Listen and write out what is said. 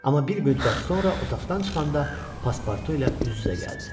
Amma bir müddət sonra otaqdan çıxanda paspartu ilə üz-üzə gəldi.